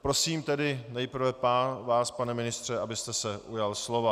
Prosím tedy nejprve vás, pane ministře, abyste se ujal slova.